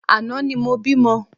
Àná ni mo bímọ